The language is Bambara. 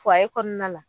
kɔnɔna la